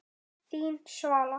Þín, Svala.